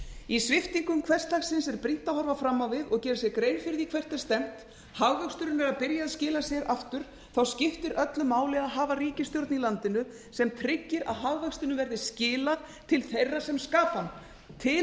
í sviptingum hversdagsins er brýnt að horfa fram á við og gera sér grein fyrir því hvert er stefnt hagvöxturinn er að byrja að skila sér aftur það skiptir öllu mál að hafa ríkisstjórn í landinu sem tryggir að hagvextinum verði skilað til þeirra sem skapa hann til